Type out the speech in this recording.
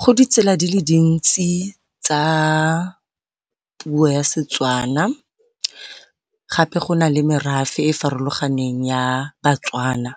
Go ditsela di le dintsi tsa puo ya Setswana gape go nale merafe e e farologaneng ya baTswana